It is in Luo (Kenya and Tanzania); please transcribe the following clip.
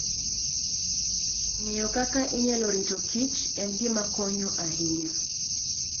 Ng'eyo kaka inyalo rito kichen gima konyo ahinya.